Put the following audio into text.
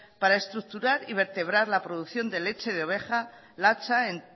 para estructurar y vertebrar la producción de leche de oveja latxa en